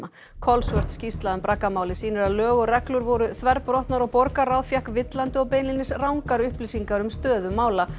kolsvört skýrsla um sýnir að lög og reglur voru þverbrotnar og borgarráð fékk villandi og beinlínis rangar upplýsingar um stöðu mála